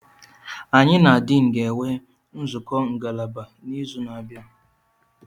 Anyị na Dean ga-enwe nzukọ ngalaba n'izu na-abịa.